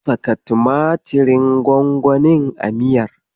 Saka tumatirin gwangwanin a miyar.